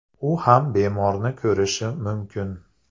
U ham bemorni ko‘rishi mumkin.